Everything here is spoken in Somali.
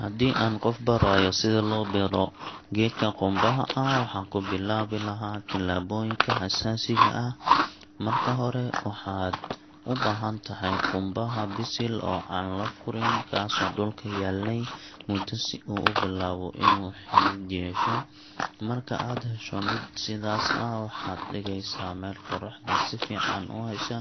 Haddii aan qof barayo sida loo beero geedka qumbaha, waxaan ku bilaabi lahaa talaabooyinka aasaasiga ah. Marka hore, waxaad u baahan tahay qumbaha bisil oo aan la furin, kaasoo dhulka yaalay muddo si uu u bilaabo in uu xidid yeesho. Marka aad hesho mid sidaas ah, waxaad dhigaysaa meel qorraxda si fiican u hesha,